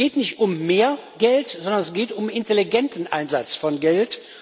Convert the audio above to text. Es geht nicht um mehr Geld, sondern es geht um intelligenten Einsatz von Geld.